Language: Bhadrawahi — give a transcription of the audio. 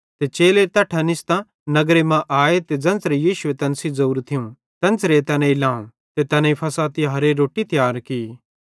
ते चेले तैट्ठां निस्तां नगरे मां आए त ज़ेन्च़रां यीशुए तैन सेइं ज़ोरू थियूं तेन्च़रां तैनेईं लावं ते तैनेईं फ़सह तिहारेरी रोट्टी तियार की